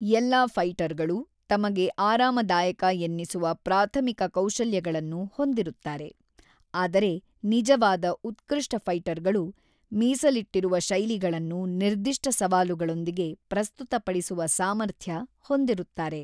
ಎಲ್ಲಾ ಫೈಟರ್‌ಗಳು ತಮಗೆ ಆರಾಮದಾಯಕ ಎನ್ನಿಸುವ ಪ್ರಾಥಮಿಕ ಕೌಶಲ್ಯಗಳನ್ನು ಹೊಂದಿರುತ್ತಾರೆ, ಆದರೆ ನಿಜವಾದ ಉತ್ಕೃಷ್ಟ ಫೈಟರ್‌ಗಳು ಮೀಸಲಿಟ್ಟಿರುವ ಶೈಲಿಗಳನ್ನು ನಿರ್ದಿಷ್ಟ ಸವಾಲುಗಳೊಂದಿಗೆ ಪ್ರಸ್ತುತಪಡಿಸುವ ಸಾಮರ್ಥ್ಯ ಹೊಂದಿರುತ್ತಾರೆ.